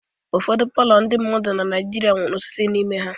Ụfọdụ palọ ndị mmadụ na Naijiria nwere osisi n'ime ha.